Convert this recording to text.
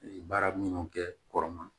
Baara minnu kɛ kɔrɔma